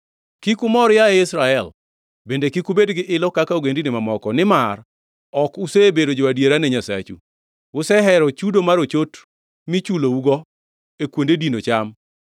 Kik umor, yaye Israel; bende kik ubed gi ilo kaka ogendini mamoko. Nimar ok usebedo jo-adiera ne Nyasachu; usehero chudo mar ochot michulougo, e kuonde dino cham.